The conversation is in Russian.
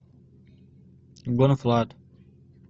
бон флат